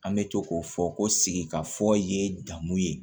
An bɛ to k'o fɔ ko sigikafɔ ye damu ye